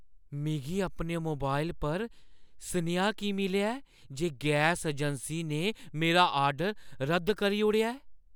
मिगी अपने मोबाइल पर सनेहा की मिलेआ ऐ जे गैस अजैंसी ने मेरा ऑर्डर रद्द करी ओड़ेआ ऐ?